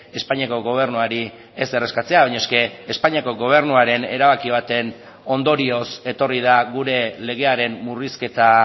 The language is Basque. espainiako gobernuari ezer eskatzea baina es que espainiako gobernuaren erabaki baten ondorioz etorri da gure legearen murrizketa